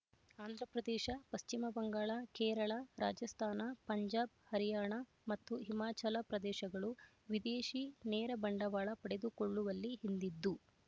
ಆಂಧ್ರ ಪ್ರದೇಶ ಪಶ್ಚಿಮ ಬಂಗಾಳ ಕೇರಳ ರಾಜಸ್ತಾನ ಪಂಜಾಬ್ ಹರಿಯಾಣ ಮತ್ತು ಹಿಮಾಚಲ ಪ್ರದೇಶಗಳು ವಿದೇಶಿ ನೇರ ಬಂಡವಾಳ ಪಡೆದುಕೊಳ್ಳುವಲ್ಲಿ ಹಿಂದಿದ್ದು